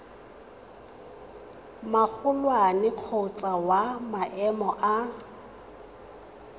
magolwane kgotsa wa maemo a